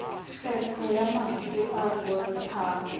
kgetho ya mantswe e bontshang